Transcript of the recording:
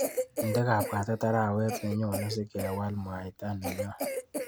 Inde kabwatet arawet nenyone sikewal mwaita nenyu.